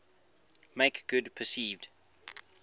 make good perceived